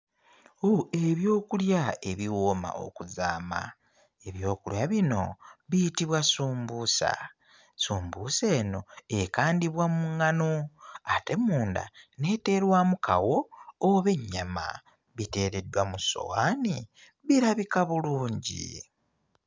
Ooh ebyokulya ebiwooma okuzaama, ebyokulya bino biyitbwa ssumbuusa, ssumbuusa eno ekandibwa mu ŋŋano ate munda n'eteerwamu kawo oba ennyama, biteereddwa mu ssowaani birabika bulungi.